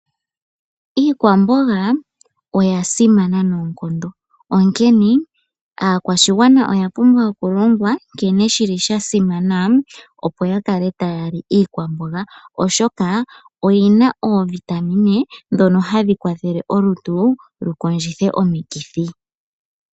Iikwamboga oya simana noonkondo onkene aakwashigwana oya pumbwa oku longwa nkene shili sha simana opo ya kale taya li iikwamboga oshoka oyina oovitamine ndhono hadhi kwathele olutu lukondjithe omikithi.